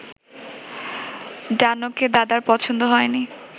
ডানোকে দাদার পছন্দ হয়নি